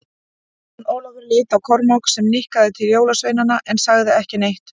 Jón Ólafur leit á Kormák, sem nikkaði til jólasveinana en sagði ekki neitt.